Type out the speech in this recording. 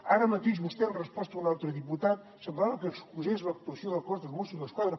ara mateix vostè en resposta a un altre diputat semblava que excusés l’actuació del cos dels mossos d’esquadra